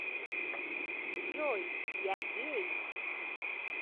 джой я гей